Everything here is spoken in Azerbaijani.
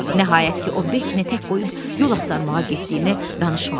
Nəhayət ki, o Bekini tək qoyub yol axtarmağa getdiyini danışmağa başladı.